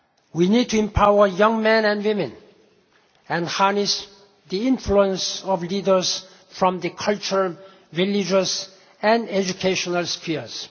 We need to empower young men and women, and harness the influence of leaders from the cultural, religious and educational spheres.